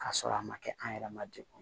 K'a sɔrɔ a ma kɛ an yɛrɛ ma degun